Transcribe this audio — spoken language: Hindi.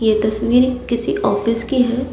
ये तस्वीर किसी ऑफिस की है।